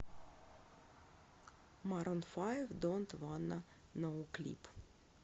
марун файв донт вонна ноу клип